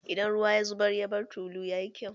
Idan ruwa ya zubar, ya bar tulu, ya yi kyau?